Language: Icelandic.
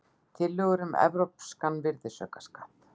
Tillögur um evrópskan virðisaukaskatt